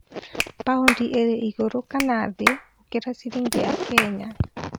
paũndi ĩrĩ igũrũ kana thi gũkĩra ciringi ya Kenya